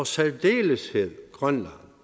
særdeleshed grønland